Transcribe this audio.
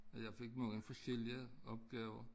At jeg fik mange forskellige opgaver